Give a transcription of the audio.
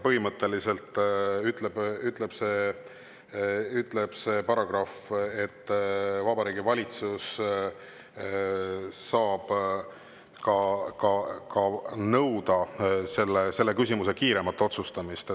Põhimõtteliselt ütleb see paragrahv, et Vabariigi Valitsus saab nõuda sellise küsimuse kiiremat otsustamist.